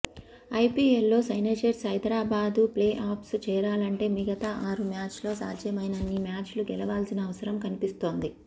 ఐపీఎల్లో సన్రైజర్స్ హైదరాబాద్ ప్లేఆఫ్స్కు చేరాలంటే మిగతా ఆరు మ్యాచ్ల్లో సాధ్యమైనన్ని మ్యాచ్లు గెలవాల్సిన అవసరం కనిపిస్తోంది